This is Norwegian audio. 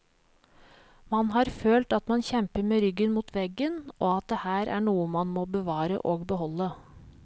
Man har følt at man kjemper med ryggen mot veggen, og at det her er noe man må bevare og beholde.